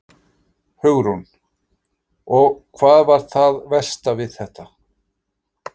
Hugrún: Og hvað var það versta við þetta?